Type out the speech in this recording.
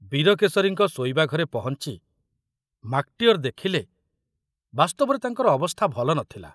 ବୀରକେଶରୀଙ୍କ ଶୋଇବା ଘରେ ପହଞ୍ଚି ମାକଟିଅର ଦେଖିଲେ ବାସ୍ତବରେ ତାଙ୍କର ଅବସ୍ଥା ଭଲ ନଥିଲା।